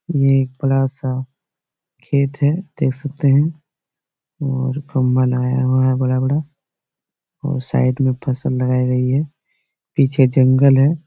ये एक बड़ा-सा खेत है देख सकते है और खम्भा लगाया हुआ है बड़ा-बड़ा और साइड में फ़सल लगाई गई है पीछे जंगल है।